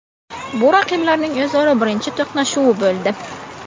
Bu raqiblarning o‘zaro birinchi to‘qnashuvi bo‘ldi.